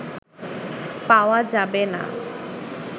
পাওয়া যাবেনা"